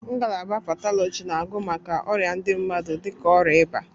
Ngalaba Patọlọji na agụ maka ọrịa ndị mmadụ dịka ọrịa ịba.